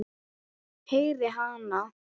Heyri hana.